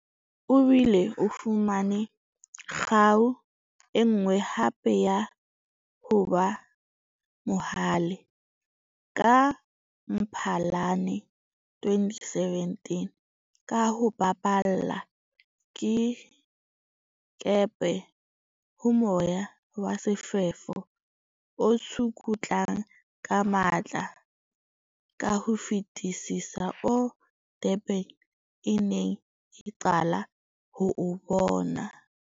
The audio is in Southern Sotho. O bile o fumane kgau e nngwe hape ya ho ba mohale ka Mphalane 2017, ka ho baballa dikepe ho moya wa sefefo o tsukutlang ka matla ka ho fetisisa oo Durban e neng e qala ho o bona.